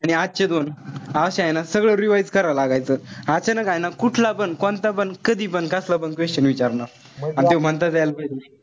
आणि आजचे दोन अशे हाये ना सगळं revise करावं लागायचं. अचानक हाये ना कुठला पण, कोणता पण, कधी पण, कसला पण question विचारणार. अन त्यो म्हणता त्याला पाहिजे.